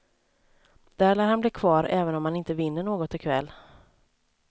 Där lär han bli kvar även om han inte vinner något i kväll.